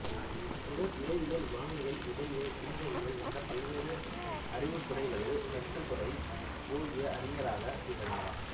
இவர் இறையியல் வானியல் உடலியல் சமூகவியல் என்ற பல்வேறு அறிவுத்துறைகளில் கற்றுத்துறை போகிய அறிஞராகத் திகழ்ந்தார்